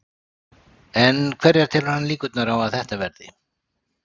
En hverjar telur hann líkurnar á að þetta verði?